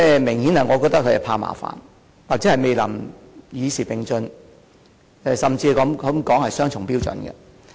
我認為政府明顯是怕麻煩，或未能與時並進，甚至可說是雙重標準。